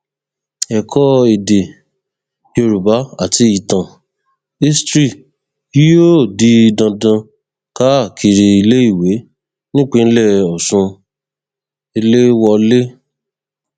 ẹkọ èdè yorùbá àti ìtàn history yóò di dandan káàkiri iléèwé nípínlẹ ọsùn eléwọlẹ